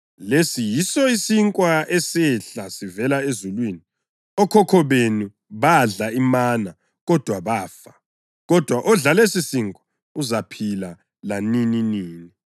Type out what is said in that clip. Lesi yiso isinkwa esehla sivela ezulwini. Okhokho benu badla imana, kodwa bafa, kodwa odla lesisinkwa uzaphila lanininini.”